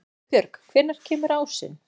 Auðbjörg, hvenær kemur ásinn?